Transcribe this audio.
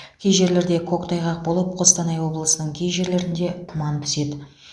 кей жерлерде көктайғақ болып қостанай облысының кей жерлерінде тұман түседі